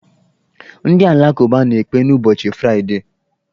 Ndị alakụba na-ekpe n'ụbọchị fraịdee.